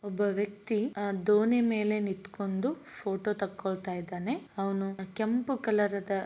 ಒಬ್ಬ ವ್ಯಕ್ತಿ ಅ ದೋಣಿ ಮೇಲೆ ನಿಂತುಕೊಂಡು ಪೋಟೋ ತೆಗೆದುಕೊಳ್ಳುತ್ತಿದ್ಧಾನೆ ಅವನು ಕೆಂಪು ಕಲರ್‌ದ --